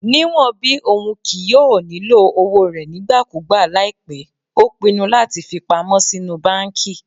Niwọn bi oun kii yoo nilo owo rẹ nigbakugba laipẹ o pinnu lati fipamọ sinu banki